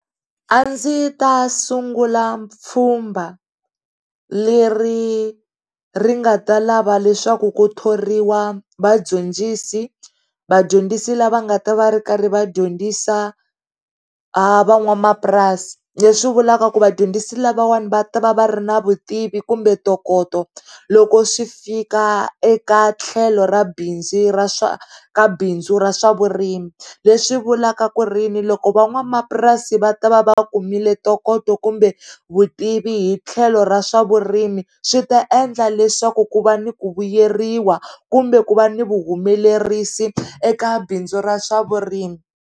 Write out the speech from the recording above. A ndzi ta sungula pfumba le ri ri nga ta lava leswaku ku thoriwa vadyondzisi, vadyondzi lava nga ta va ri karhi vadyondzisa va n'wanamapurasi leswi vulaka ku vadyondzisi lavawani va ta va va ri na vutivi kumbe ntokoto loko swi fika eka tlhelo ra bindzu ra swa, ka bindzu ra swavurimi leswi vulavula ku ri yini loko va n'wamapurasi va tiva vakumile ntokoto kumbe vutivi hi tlhelo ra swa vurimi swi ta endla leswaku ku va ni ku vuyeriwa kumbe ku va ni vu humelerisi eka bindzu ra swa vurimi.